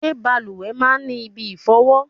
Ṣé bàlùwẹ̀ máa ń ní ibi ìfọ̀wọ?